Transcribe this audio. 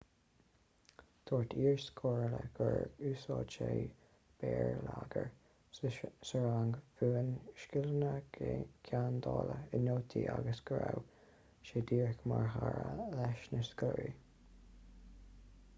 dúirt iarscoláire gur 'úsáid sé béarlagair sa rang mhúin scileanna geandála i nótaí agus go raibh sé díreach mar chara leis na scoláirí.'